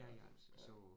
Ja, ja